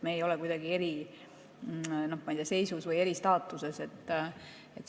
Me ei ole kuidagi eriseisus või eristaatuses.